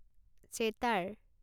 চেতাৰ